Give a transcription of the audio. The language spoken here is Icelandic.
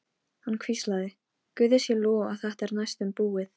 Hann hvíslaði: Guði sé lof að þetta er næstum búið.